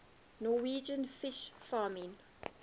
norwegian fish farming